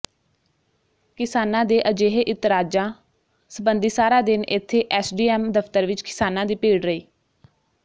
ਕਿਸਾਨਾਂ ਦੇ ਅਜਿਹੇ ਇਤਰਾਜ਼ਾ ਸਬੰਧੀ ਸਾਰਾ ਦਿਨ ਇੱਥੇ ਐੱਸਡੀਐੱਮ ਦਫ਼ਤਰ ਵਿੱਚ ਕਿਸਾਨਾਂ ਦੀ ਭੀੜ ਰਹੀ